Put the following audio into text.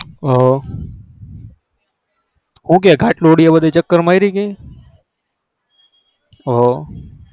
હ હું કે ખાત્લોદેયા ચક્ર મારી કે